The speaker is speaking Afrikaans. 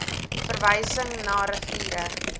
verwysing na riviere